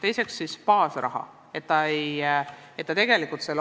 Teiseks, baasraha.